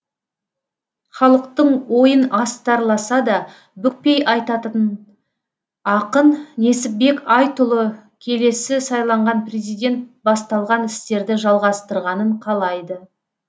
халықтың ойын астарласа да бүкпей айтатын ақын несіпбек айтұлы келесі сайланған президент басталған істерді жалғастырғанын қалайды